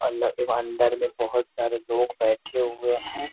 आलग ई अंदर में बहुत सारे लोग बैठे हुए हैं।